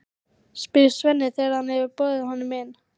spyr Svenni þegar hann hefur boðið honum inn.